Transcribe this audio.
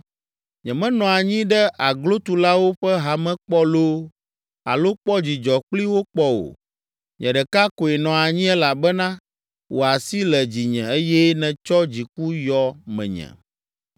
Nyemenɔ anyi ɖe aglotulawo ƒe hame kpɔ loo alo kpɔ dzidzɔ kpli wo kpɔ o. Nye ɖeka koe nɔ anyi elabena wò asi le dzinye eye nètsɔ dziku yɔ menye.